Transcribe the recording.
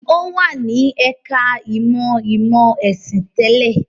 Ó wà ní ẹ̀ka-ìmọ̀ ìmọ̀-ẹ̀sìn tẹ́lẹ̀.